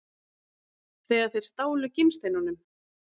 Þegar þeir stálu gimsteinunum?